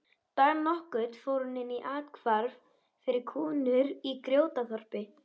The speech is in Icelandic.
Dag nokkurn fór hún inn í athvarf fyrir konur í Grjótaþorpi.